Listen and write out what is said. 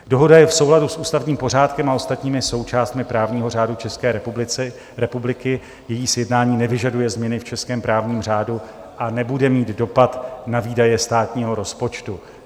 Dohoda je v souladu s ústavním pořádkem a ostatními součástmi právního řádu České republiky, její sjednání nevyžaduje změny v českém právním řádu a nebude mít dopad na výdaje státního rozpočtu.